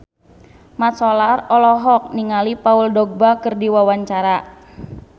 Mat Solar olohok ningali Paul Dogba keur diwawancara